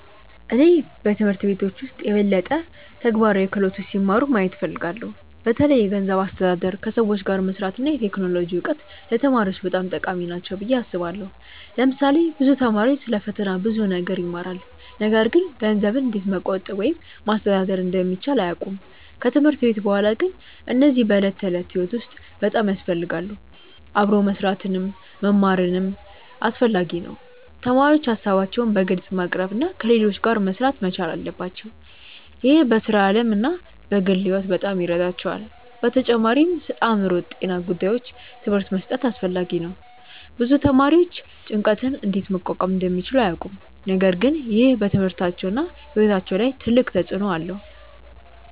እኔ በትምህርት ቤቶች ውስጥ የበለጠ ተግባራዊ ክህሎቶች ሲማሩ ማየት እፈልጋለሁ። በተለይ የገንዘብ አስተዳደር፣ ከሰዎች ጋር መስራት እና የቴክኖሎጂ እውቀት ለተማሪዎች በጣም ጠቃሚ ናቸው ብዬ አስባለሁ። ለምሳሌ ብዙ ተማሪዎች ስለ ፈተና ብዙ ነገር ይማራሉ፣ ነገር ግን ገንዘብን እንዴት መቆጠብ ወይም ማስተዳደር እንደሚቻል አያውቁም። ከትምህርት ቤት በኋላ ግን እነዚህ በዕለት ተዕለት ሕይወት ውስጥ በጣም ያስፈልጋሉ። አብሮ መስራትንም መማርም አስፈላጊ ነው። ተማሪዎች ሀሳባቸውን በግልጽ ማቅረብ እና ከሌሎች ጋር መሥራት መቻል አለባቸው። ይህ በሥራ ዓለም እና በግል ሕይወት በጣም ይረዳቸዋል። በተጨማሪም ስለአእምሮ ጤና ጉዳዮች ትምህርት መስጠት አስፈላጊ ነው። ብዙ ተማሪዎች ጭንቀትን እንዴት መቋቋም እንደሚችሉ አያውቁም፣ ነገር ግን ይህ በትምህርታቸውና በሕይወታቸው ላይ ትልቅ ተጽእኖ አለው።